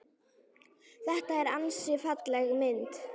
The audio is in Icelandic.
Þetta er ansi falleg mynd.